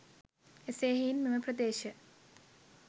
එසේ හෙයින් මෙම ප්‍රදේශ